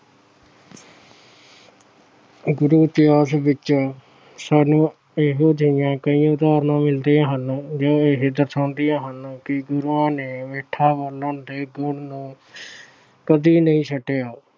ਗੁਰੂ ਇਤਿਹਾਸ ਵਿੱਚ ਸਾਨੂੰ ਇਹੋ ਜਿਹੀਆਂ ਕਈ ਉਦਾਹਰਣਾਂ ਮਿਲਦੀਆਂ ਹਨ ਜੋ ਇਹ ਦਰਸਾਉਂਦਿਆਂ ਹਨ ਕਿ ਗੁਰੂਆਂ ਨੇ ਮਿੱਠਾ ਬੋਲਣ ਦੇ ਗੁਣ ਨੂੰ ਕਦੇ ਨਹੀਂ ਛੱਡਿਆ।